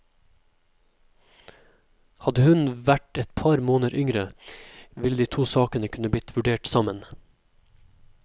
Hadde hun vært et par måneder yngre, ville de to sakene kunne blitt vurdert sammen.